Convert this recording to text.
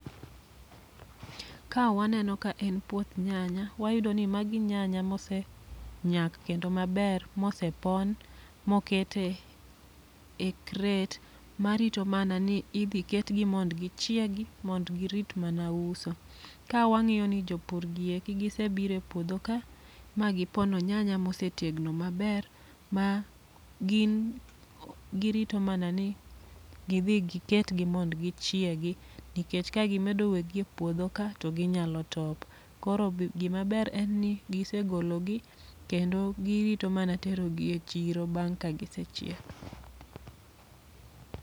Ka waneno ka en puoth nyanya, wayudo ni magi nyanya mose nyak kendo maber mose pon. Mo kete e kret, ma rito mana ni idhi ketgi mond gichiegi mond girit mana uso. Ka wang'iyo ni jopur gieki gise bire puodho ka, ma gipono nyanya mose tegno maber, ma gin girito mana ni gidhi giketgi mond gichiegi. Nikech ka gi medo wegi e puodho ka, ginyalo top. Koro b gima ber en ni gise golo gi, kendo girito mana tero gi e chiro ka gise chiek.